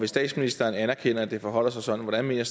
statsministeren anerkender at det forholder sig sådan hvordan mener